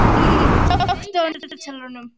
Anfinn, slökktu á niðurteljaranum.